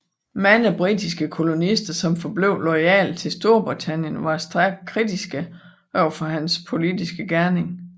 Mange britiske kolonister som forblev loyale til Storbritannien var stærkt kritiske overfor hans politiske gerning